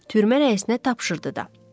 Türmə rəisinə tapşırdı da.